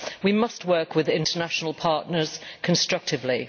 We must work with international partners constructively.